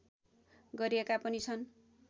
गरिएका पनि छन्